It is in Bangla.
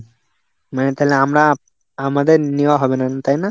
মানে তাহলে আমরা, আমাদের নেওয়া হবে না. তাই না?